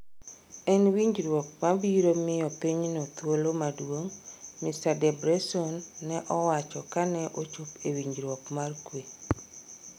En winjruok mabiro miyo pinyno thuolo maduong'," Mr. Debretsion ne owacho kane ochop winjruok mar kwe.